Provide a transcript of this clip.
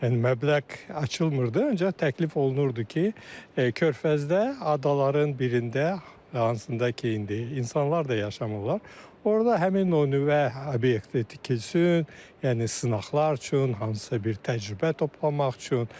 Yəni məbləğ açılmırdı, ancaq təklif olunurdu ki, Körfəzdə adaların birində, hansında ki, indi insanlar da yaşamırlar, orda həmin o nüvə obyekti tikilsin, yəni sınaqlar üçün, hansısa bir təcrübə toplamaq üçün.